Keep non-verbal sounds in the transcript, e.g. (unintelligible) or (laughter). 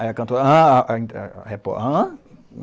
Aí a cantora... ãh a... (unintelligible) hã?